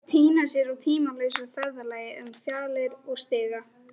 Týna sér á tímalausa ferðalagi um fjalir og stiga.